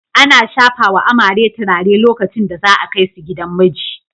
Ana shafawa amare turare lokacin da za a kai su gidan miji.